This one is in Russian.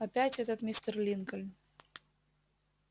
опять этот мистер линкольн